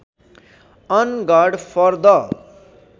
on guard for the